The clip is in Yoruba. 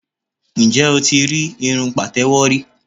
Ǹjẹ́ o ti rí irun pàtẹ́wọ́ rí?